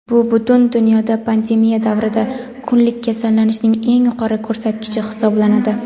bu butun dunyoda pandemiya davrida kunlik kasallanishning eng yuqori ko‘rsatkichi hisoblanadi.